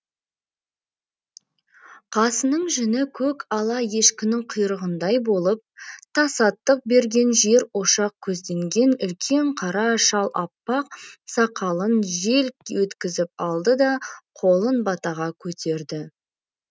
қасының жүні көк ала ешкінің құйрығындай болып тасаттық берген жер ошақ көзденген үлкен қара шал аппақ сақалын желк еткізіп алды да қолын батаға көтерді